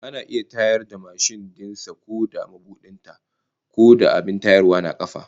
Ana iya tayar da mashin din sa ko dai da mabudin ta, ko da abin tayarwa na kafa